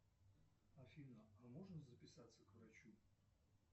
афина а можно записаться к врачу